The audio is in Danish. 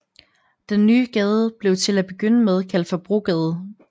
Den nye gade blev til at begynde med kaldt for Brogade